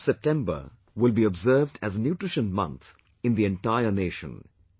The month of September will be observed as Nutrition Month in the entire nation